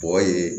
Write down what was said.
Bɔgɔ ye